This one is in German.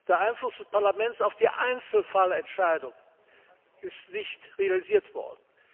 Der Einfluss des Parlaments auf die Einzelfallentscheidung ist nicht realisiert worden.